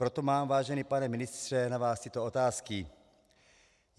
Proto mám, vážený pane ministře, na vás tyto otázky: